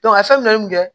a ye fɛn mun kɛ